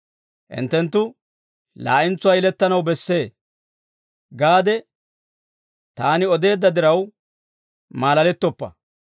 ‹Hinttenttu laa'entsuwaa yelettanaw bessee› gaade taani odeedda diraw, maalalettoppa.